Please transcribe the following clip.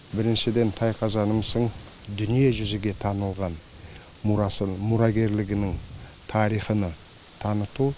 біріншіден тайқазанымыздың дүниежүзіге танылған мұрасы мұрагерлігінің тарихыны таныту